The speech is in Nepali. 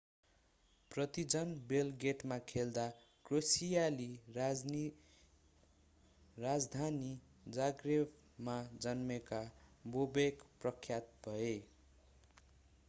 पर्तिजान बेलग्रेडमा खेल्दा क्रोएसियाली राजधानी जाग्रेबमा जन्मेका बोबेक प्रख्यात भए